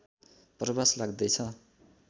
प्रवास लाग्दैछ